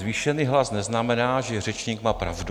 Zvýšený hlas neznamená, že řečník má pravdu.